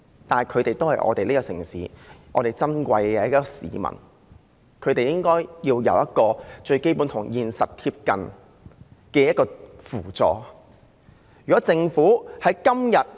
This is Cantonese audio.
但是，他們都是這個城市中的珍貴市民，他們應該有與現實貼近的最基本扶助。